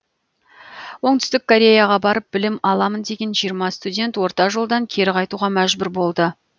оңтүстік кореяға барып білім аламын деген жиырма студент орта жолдан кері қайтуға мәжбүр болды